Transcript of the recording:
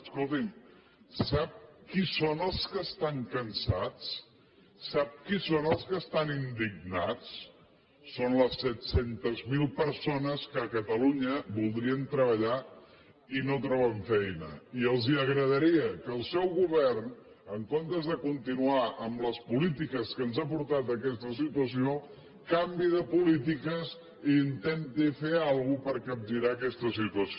escolti’m sap qui són els que estan cansats sap qui són els que estan indignats són les set cents miler persones que a catalunya voldrien treballar i no troben feina i els agradaria que el seu govern en comptes de continuar amb les polítiques que ens han portat a aquesta situació canviï de polítiques i intenti fer alguna cosa per capgirar aquesta situació